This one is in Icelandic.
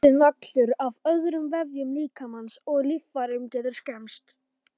Fjöldinn allur af öðrum vefjum líkamans og líffærum getur skemmst.